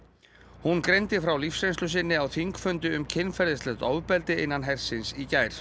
hún greindi frá lífsreynslu sinni á þingfundi um kynferðislegt ofbeldi innan hersins í gær